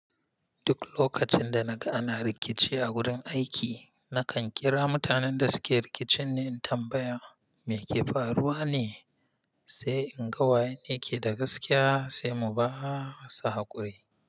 Duk lokacin da naga ana rikici a wurin aiki, na kan kira mutanen da suke rikicin ne in tambaya me ke faruwa ne, sai in ga wayene yake da gaskiya sai mu ba sa haƙuri.